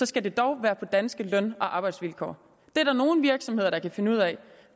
skal det dog være på danske løn og arbejdsvilkår det er der nogle virksomheder der kan finde ud af og